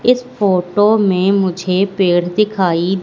इस फोटो में मुझे पेड़ दिखाई--